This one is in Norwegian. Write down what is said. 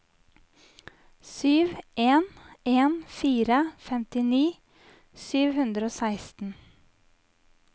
sju en en fire femtini sju hundre og seksten